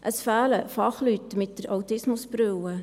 Es fehlen Fachleute mit der «Autismusbrille».